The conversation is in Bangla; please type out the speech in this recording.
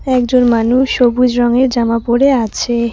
একজন মানুষ সবুজ রঙের জামা পড়ে আছে।